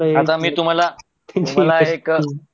आता मी तुम्हाला तुम्हाला एक